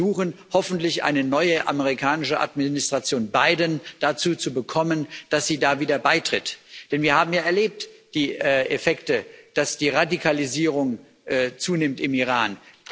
Wir müssen versuchen, hoffentlich eine neue amerikanische Administration Biden dazu zu bekommen, dass sie da wieder beitritt, denn wir haben ja die Effekte erlebt, dass die Radikalisierung zunimmt im Iran.